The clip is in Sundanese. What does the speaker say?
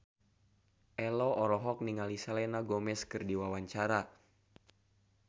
Ello olohok ningali Selena Gomez keur diwawancara